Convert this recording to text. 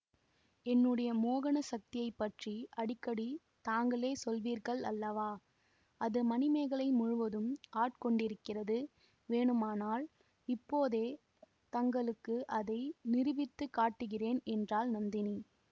என்னுடைய மோகன சக்தியை பற்றி அடிக்கடி தாங்களே சொல்வீர்கள் அல்லவா அது மணிமேகலை முழுதும் ஆட்கொண்டிருக்கிறது வேணுமானால் இப்போதே தங்களுக்கு அதை நிரூபித்து காட்டுகிறேன் என்றாள் நந்தினி